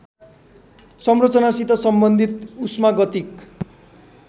संरचनासित सम्बन्धित उष्मागतिक